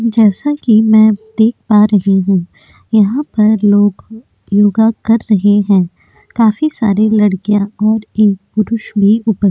जैसा कि मैं देख पा रही हूँ यहाँ पर लोग योगा कर रहे हैं। काफी सारे लड़किया और एक पुरुष भी उपस् --